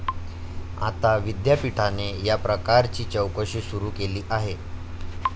आता विद्यापीठाने या प्रकाराची चौकशी सुरू केली आहे.